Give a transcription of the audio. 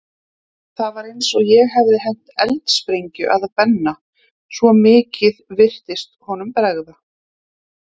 Það var eins og ég hefði hent eldsprengju að Benna, svo mikið virtist honum bregða.